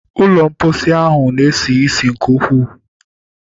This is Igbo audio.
Ụlọ mposi ahụ na-esi ísì nke ukwu.